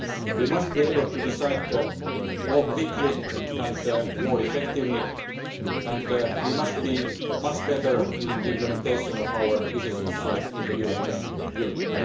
We must be able to decide more quickly and more effectively and we must be much better in the implementation of our decisions in the European Union.